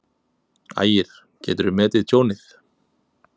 Ægir: Geturðu metið tjónið?